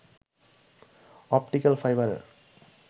optical ফাইবারের